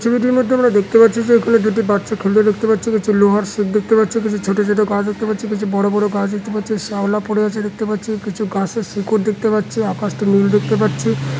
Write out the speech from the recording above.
ছবিটির মধ্যে আমরা দেখতে পাচ্ছি যে এখানে দুটি বাচ্চা খেলছে দেখতে পাচ্ছি কিছু লোহার শিক দেখতে পাচ্ছি কিছু ছোট ছোট গাছ দেখতে পাচ্ছি কিছু বড়ো বড়ো গাছ দেখতে পাচ্ছি শ্যাওলা পড়ে আছে দেখতে পাচ্ছি কিছু গাছের শিকড় দেখতে পাচ্ছি আকাশটি নীল দেখতে পাচ্ছি।